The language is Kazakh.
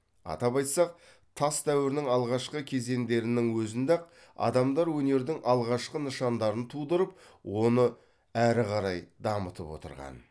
атап айтсақ тас дәуірінің алғашқы кезендерінің өзінде ақ адамдар өнердің алғашқы нышандарын тудырып оны өрі қарай дамытып отырған